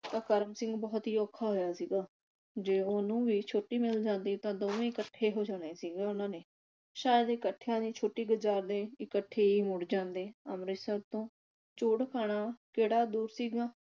ਤਾਂ ਕਰਮ ਸਿੰਘ ਬਹੁਤ ਹੀ ਔਖਾ ਹੋਇਆ ਸੀਗਾ। ਜੇ ਉਹਨੂੰ ਵੀ ਛੁੱਟੀ ਮਿਲ ਜਾਂਦੀ ਤਾਂ ਦੋਵੇਂ ਇਕੱਠੇ ਹੋ ਜਾਣੇ ਸੀਗੇ ਉਨ੍ਹਾਂ ਨੇ। ਸ਼ਾਇਦ ਇਕੱਠਿਆਂ ਦੀ ਛੁੱਟੀ ਗੁਜਾਰਦੇ ਇਕੱਠੇ ਈ ਮੁੜ ਜਾਂਦੇ ਅੰਮ੍ਰਿਤਸਰ ਤੋਂ ਝੂੜਖਾਨਾ ਕਿਹੜਾ ਦੂਰ ਸੀਗਾ